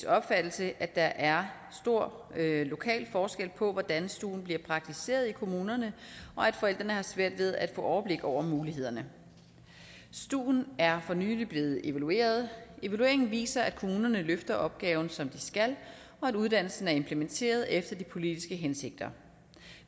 opfattelse at der er stor lokal forskel på hvordan stuen bliver praktiseret i kommunerne og at forældrene har svært ved at få overblik over mulighederne stuen er for nylig blevet evalueret evalueringen viser at kommunerne løfter opgaven som de skal og at uddannelsen er implementeret efter de politiske hensigter